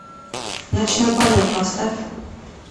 ночной полет поставь